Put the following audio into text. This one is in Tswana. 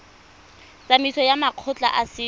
tsamaisong ya makgotla a setso